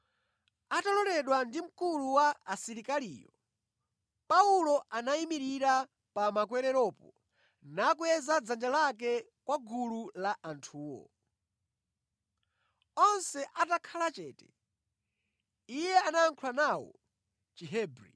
Ataloledwa ndi mkulu wa asilikaliyo, Paulo anayimirira pa makwereropo nakweza dzanja lake kwa gulu la anthuwo. Onse atakhala chete, iye anayankhula nawo mʼChihebri.